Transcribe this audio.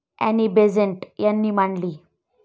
Annie Besant यांनी मांडली.